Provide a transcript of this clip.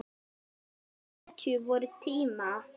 Hetju vorra tíma.